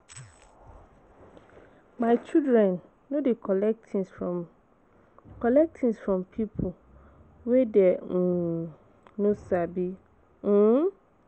My children no dey collect tins from collect things from pipo wey dem um no sabi[um].